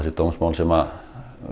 dómsmál sem